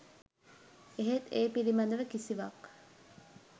එහෙත් ඒ පිළිබඳව කිසිවක්